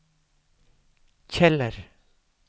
Kjeller